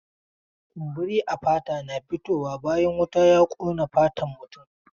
Kumburi a fata na fitowa bayan wuta ya ƙona fatan mutum.